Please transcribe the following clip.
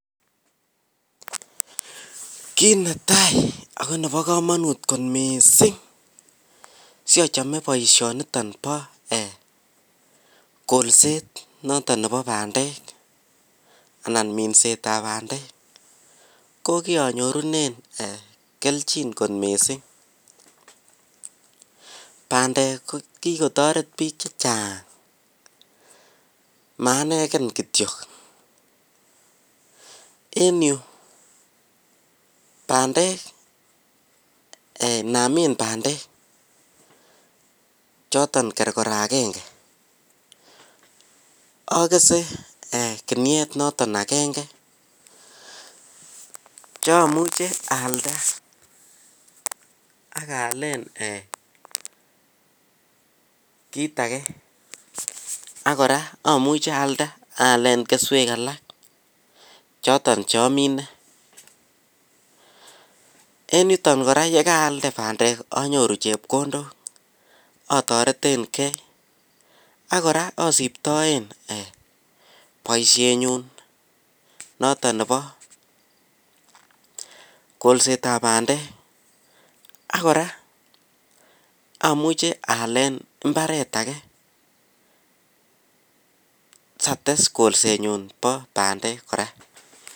Kit netai ako Nebo kamanut ko mising simachome baishoniton ba kolset niton Nebo bandek anan minset ab bandek kokianyorunen kelchin kot mising bandek kokikotaret Bik chechang maaneken kityo en Yu bandek namin bandek choton korokoro agenge agese kinuet noton agenge cheimuche ayalda akayalen kit age akoraa amuche ayalda akayalen keswek alak choton cheamine en yuton koraa yekarayalde bandek anyoruu chepkondok atareten gei akoraa asibtaen baishet nyun noton Nebo kolset ab bandek akoraa amuche ayalda ayalen imbaret age sates kolsenyun ba bandek koraa